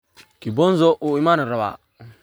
Kibonzo uu iimanirawa.